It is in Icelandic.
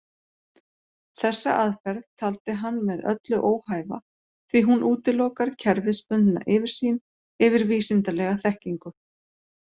Þessa aðferð taldi hann með öllu óhæfa því hún útilokar kerfisbundna yfirsýn yfir vísindalega þekkingu.